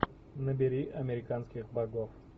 набери американских богов